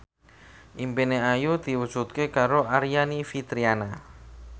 impine Ayu diwujudke karo Aryani Fitriana